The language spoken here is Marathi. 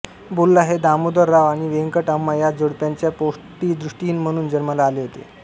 बोल्ला हे दामोदर राव आणि वेंकट अम्मा या जोडप्याच्या पोटी दृष्टिहीन म्हणून जन्माला आले होते